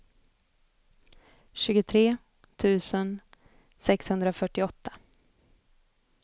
tjugotre tusen sexhundrafyrtioåtta